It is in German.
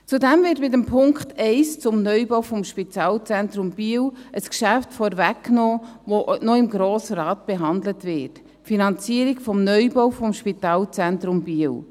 Zudem wird mit dem Punkt 1 zum Neubau des Spitalzentrums Biel ein Geschäft vorweggenommen, das im Grossen Rat noch behandelt wird: die Finanzierung des Neubaus des Spitalzentrums Biel.